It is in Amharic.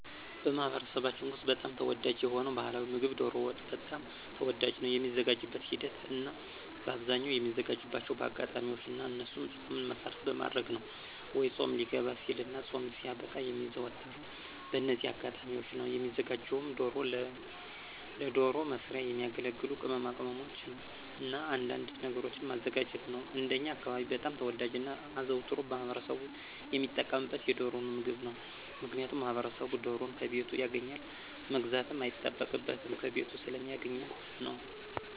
በማኅበረሰባችን ውስጥ በጣም ተወዳጅ የሆነው ባሕላዊ ምግብ ዶሮ ወጥ በጣም ተወዳጅ ነው። የሚዘጋጅበትን ሂደት እናበአብዛኛው የሚዘጋጅባቸው በአጋጣሚዎች ነው እነሱም ፆምን መሰረት በማድረግ ነው ወይ ፆም ሊገባ ሲልና ፆም ሲያበቃ የሚዘወተረው በእነዚህ አጋጣሚዎች ነው። የሚዘጋጀውም ዶሮና ለዶሮ መስሪያ የሚያገለግሉ ቅማቅመሞችንና አንዳንድ ነገሮችን ማዘጋጀት ነው። እንደኛ አካባቢ በጣም ተወዳጅና አዘውትሮ ማህበረሰቡ ሚጠቀምበት የዶሮን ምግብ ነው። ምክንያቱም ማህበረሰቡ ዶሮን ከቤቱ ያገኛል መግዛትም አይጠበቅበትም ከቤቱ ስለሚያገኛት ነው።